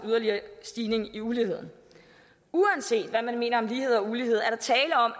yderligere stigning i uligheden uanset hvad man mener om lighed og ulighed er der tale om